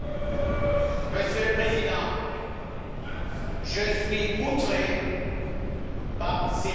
Monsieur le Président, je suis outré par ces déclarations